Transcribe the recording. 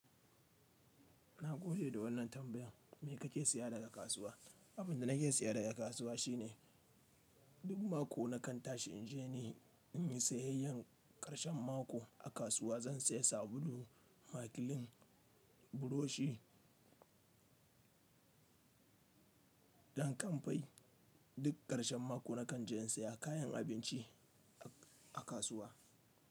Na gode da wannan tambayan. Me kake saya daga kasuwa? Abin da nake saya daga kasuwa shine duk mako na kan tashi in je ni in yi sayayyan karshen mako a kasuwa. Zan saya sabulu, makilin, burushi, dankamfai. Duk karshen mako na kan je in saya kayan abinci a kasuwa.